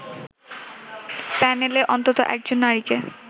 প্যানেলে অন্তত একজন নারীকে